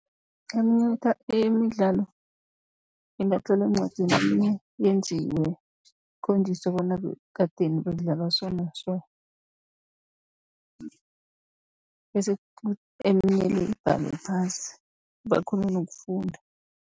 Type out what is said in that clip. Eminye imidlalo ingatlolwa eencwadini, eminye yenziwe kukhonjiswe bona kadeni bekudlalwa so na so, bese eminye le ibhalwe phasi bakghone nokufunda.